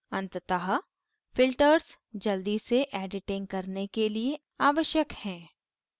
अंततः filters जल्दी से editing करने के लिए आवश्यक हैं